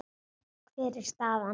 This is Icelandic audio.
Hver er staðan?